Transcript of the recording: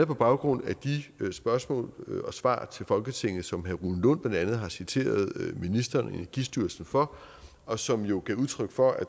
på baggrund af de spørgsmål og svar til folketinget som herre rune lund blandt andet har citeret ministeren og energistyrelsen for og som jo gav udtryk for at